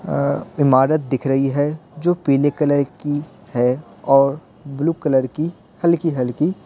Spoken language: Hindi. अ इमारत दिख रही है जो पीले कलर की है और ब्लू कलर की हल्की-हल्की --